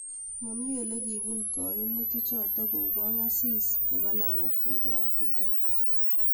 Maami ole kiipun gaimutik chotok kou Kongaasis ab langat nebo Africa